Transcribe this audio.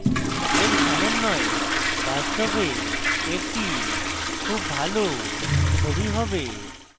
এর সমন্বয় বাস্তবে একটি খুব ভালো ছবি হবে